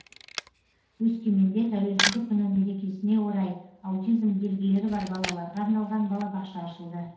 өскеменде тәуелсіздік күні мерекесіне орай аутизм белгілері бар балаларға арналған балабақша ашылды